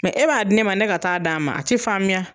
Mɛ e b'a di ne ma ne ka taa d'a ma a ti faamuya